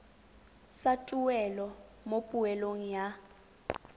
sa tuelo mo poelong ya